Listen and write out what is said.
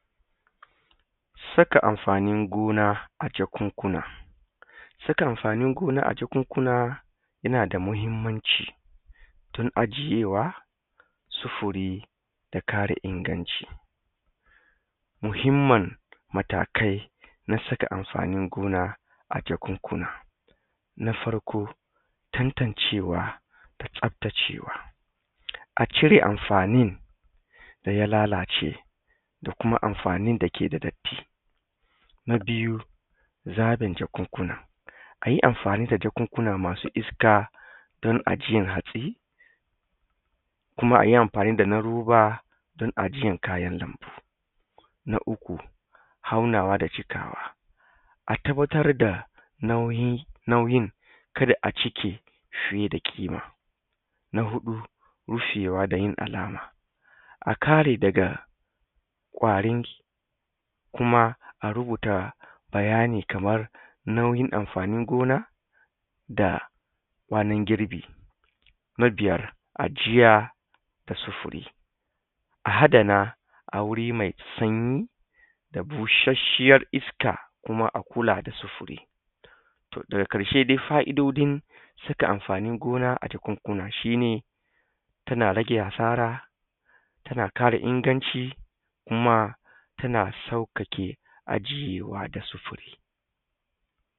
Saka amfanin gona a jakunkuna. Saka amfanin gona a jakunkuna yana da muhimmanci tun ajiyewa, sufuri, da kare inganci. Muhimman matakai na saka amfanin gona a jakunkuna. Na farko tantancewa, da tsaftacewa, a cire amfanin da ya lalace da kuma amfanin dake da datti. Na biyu zaɓin jakunkuna a yi amfani da jakunkuna masu iska don ajiyan hatsi, kuma a yi amfani dana roba don ajiyan kayan lambu. Na uku aunawa da cikawa. A tabbatar da nauyin kada a cike fiye da ƙima. Na huɗu rufewa da yin alama a kare daga ƙwari kuma a rubuta bayani kamar nauyin amfanin gona, da kwanan girbi. Na biyar ajiya da sufuri. A adana a wuri mai sanyi da bushashshiyar iska, kuma a kula da sufuri to daga ƙarshe dai fa'idodin saka amfanin gona a jakunkuna shi ne tana rage asara, tana ƙara inganci, kuma tana sauƙaƙe aje yuwuwa da sufuri.